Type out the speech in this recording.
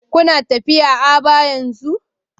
Kuna tafiya Aba yanzu?